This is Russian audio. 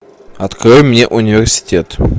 открой мне университет